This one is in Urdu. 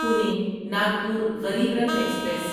پونی ناگپور غریب رتھ ایکسپریس